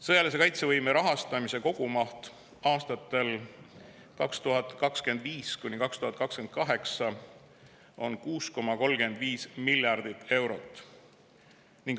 Sõjalise kaitsevõime rahastamise kogumaht aastatel 2025–2028 on 6,35 miljardit eurot.